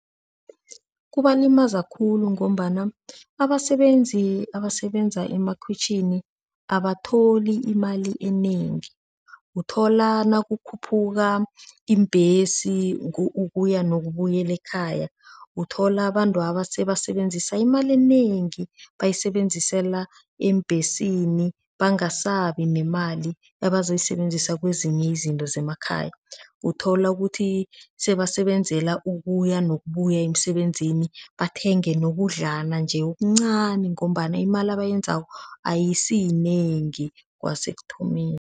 Kubalimaza khulu ngombana abasebenzi abasebenza emakhwitjhini abatholi imali enengi, uthola nakukhuphuka iimbhesi ukuya yokubuyela ekhaya, uthola abantwaba sebasebenzisa imali enengi bayisebenzisela eembhesini bangasabi nemali ebazoyisebenzisa kwezinye izinto zemakhaya. Uthola ukuthi sebasebenzela ukuya nokubuya emisebenzini bathenge nokudlalana-nje okuncani ngombana imali abayenzako ayisiyinengi kwasekuthomeni.